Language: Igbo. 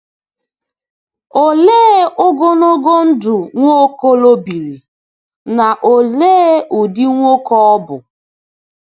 Òlee ogologo ndụ Nwokolo biri, na òlee ụdị nwoke ọ bụ?